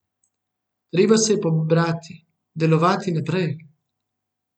Treba se je pobrati, delovati naprej.